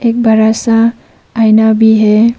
एक बड़ा सा आईना भी है।